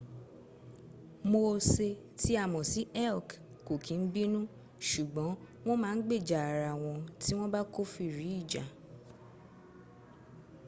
moose tí a ms sí elk kò kín bínu ṣùgbọ́n wọ́n ma gbèjà ara wọn tí wọ́n bá kófìrí ìjà